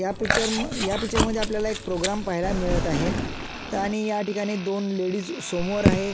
या पिक्चर म या पिक्चर मध्ये आपल्याला एक प्रोग्राम पाहायला मिळत आहे आणि याठिकाणी दोन लेडीज समोर आहे.